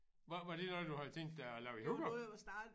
Var var det noget du havde tænkt dig at lave i Hurup?